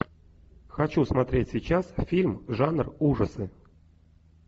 хочу смотреть сейчас фильм жанр ужасы